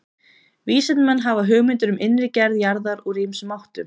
Vísindamenn hafa hugmyndir um innri gerð jarðar úr ýmsum áttum.